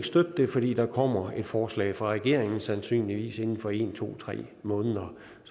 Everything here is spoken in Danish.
støtte det fordi der kommer et forslag fra regeringen sandsynligvis inden for en to tre måneder